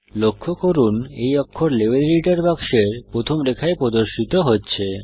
লক্ষ্য করুন এই অক্ষর লেভেল এডিটর বাক্সের প্রথম রেখায় প্রদর্শিত হচ্ছে